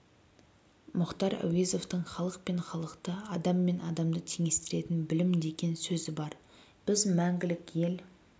мұхтар әуезовтің халық пен халықты адам мен адамды теңестіретін білім деген сөзі бар біз мәңгілік ел